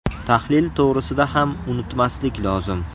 Tahlil to‘g‘risida ham unutmaslik lozim.